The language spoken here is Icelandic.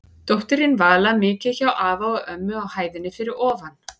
Dóttirin Vala mikið hjá afa og ömmu á hæðinni fyrir ofan.